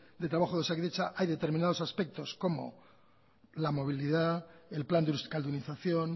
de trabajo de osakidetza hay determinados aspectos como la movilidad el plan de euskaldunización